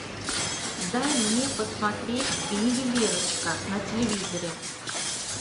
дай мне посмотреть ювелирочка на телевизоре